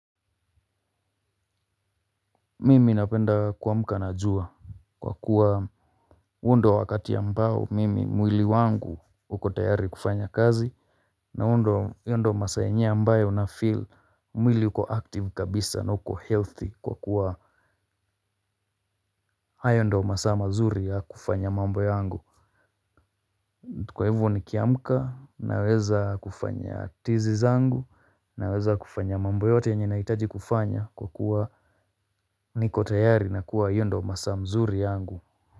Mimi napenda kuamka na jua kwa kuwa huo ndo wakati ya ambao mimi mwili wangu uko tayari kufanya kazi. Na hayo ndio masaa yenye ambayo naskia mwili uko sawa kabisa na uko na afya njema kwa kuwa hayo ndo masaa mazuri ya kufanya mambo yangu. Kwa hivyo nikiamka naweza kufanya tizi zangu naweza kufanya mambo yote yenye nahitaji kufanya kwa kuwa niko tayari na kuwa hayo ndio masaa nzuri yangu.